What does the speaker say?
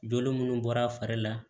Joli munnu bɔra a fari la